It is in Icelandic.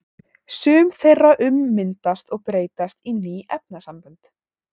Sum þeirra ummyndast og breytast í ný efnasambönd.